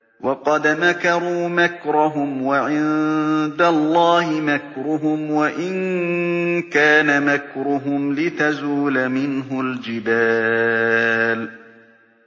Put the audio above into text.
وَقَدْ مَكَرُوا مَكْرَهُمْ وَعِندَ اللَّهِ مَكْرُهُمْ وَإِن كَانَ مَكْرُهُمْ لِتَزُولَ مِنْهُ الْجِبَالُ